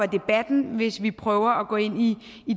debatten hvis vi prøver at gå ind i